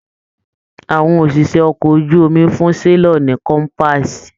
Àwọn òṣìṣẹ́ ọkọ̀ ojú omi fún selọ̀ ní kọ́mpaasi.